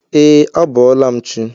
E, a bọọla m chi.